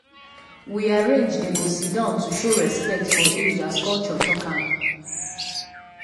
we arrange dey go sit down to show respect for age as culture talk am.